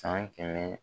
San kɛmɛ